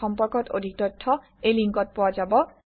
এই সম্পৰ্কত অধিক তথ্য এই লিংকত পোৱা যাব